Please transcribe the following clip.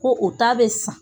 Ko o ta bɛ san